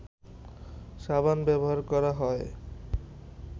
সাবান ব্যবহার করা হয়